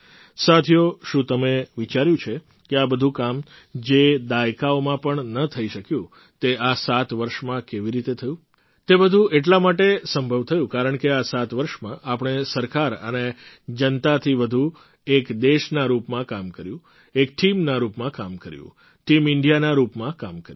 સાથીઓ શું તમે વિચાર્યું છે કે આ બધું કામ જે દાયકાઓમાં પણ ન થઈ શક્યું તે આ સાત વર્ષમાં કેવી રીતે થયું તે બધું એટલા માટે સંભવ થયું કારણકે આ સાત વર્ષમાં આપણે સરકાર અને જનતાથી વધુ એક દેશના રૂપમાં કામ કર્યું એક ટીમના રૂપમાં કામ કર્યું ટીમ ઇન્ડિયાના રૂપમાં કામ કર્યું